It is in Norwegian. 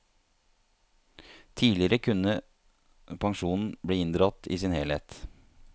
Tidligere kunne pensjonen bli inndratt i sin helhet.